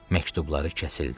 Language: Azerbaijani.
məktubları kəsildi.